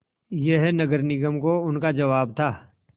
यह नगर निगम को उनका जवाब था